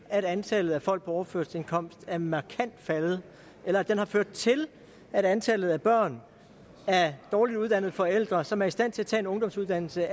at antallet af folk på overførselsindkomst er markant faldende eller at den har ført til at antallet af børn af dårligt uddannede forældre som er i stand til at tage en ungdomsuddannelse